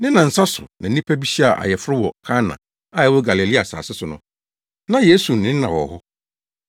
Ne nnansa so na nnipa bi hyiaa ayeforo wɔ Kana a ɛwɔ Galilea asase so no. Na Yesu ne na wɔ hɔ,